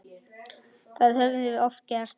Það höfum við oft gert.